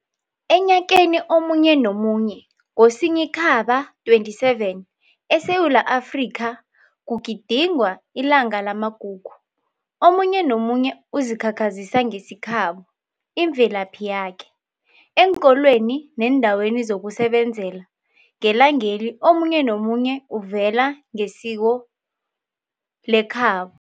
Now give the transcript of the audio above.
Enyakeni omunye nomunye ngoSinyikhamba 27, e Sewula Afrika kugidingwa ilanga lamagugu. Omunye nomunye uzikhakhazisa ngesikhabo, imvelaphi yakhe. eenkolweni neendaweni zokusebenzela ngelangeli omunye nomunye uvela ngesikhhabo.